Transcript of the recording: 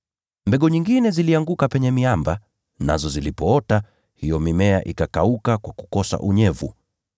Mbegu nyingine zilianguka penye miamba, nazo zilipoota, hiyo mimea ikakauka kwa kukosa unyevu.